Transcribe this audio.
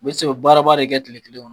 U bɛ se, u bɛ baaraba de kɛ kile kelen